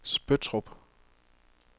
Spøttrup